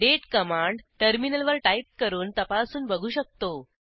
Date command टर्मिनलवर type करून तपासून बघू शकतो